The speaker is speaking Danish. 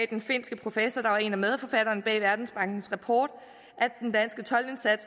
den finske professor der var en af medforfatterne bag verdensbankens rapport